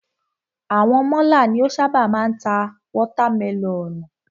Àwọn málà ni o ṣábà máa ń ta watermẹlọ̀nùù.